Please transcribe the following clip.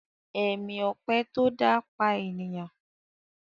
Èmi ọpẹ tó dá pà ènìyàn.